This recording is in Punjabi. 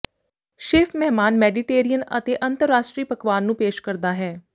ਸ਼ੇਫ ਮਹਿਮਾਨ ਮੈਡੀਟੇਰੀਅਨ ਅਤੇ ਅੰਤਰਰਾਸ਼ਟਰੀ ਪਕਵਾਨ ਨੂੰ ਪੇਸ਼ ਕਰਦਾ ਹੈ